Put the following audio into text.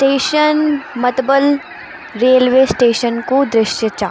स्टेशन मतबल railway station कु दृश्य चा।